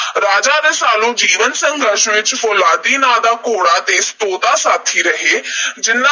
ਰਾਜਾ ਰਸਾਲੂ ਦੇ ਜੀਵਨ ਸੰਘਰਸ਼ ਵਿੱਚ ਫੌਲਾਦੀ ਨਾਂ ਦਾ ਘੋੜਾ ਤੇ ਤੋਤਾ ਸਾਥੀ ਰਹੇ ਜਿਹਨਾਂ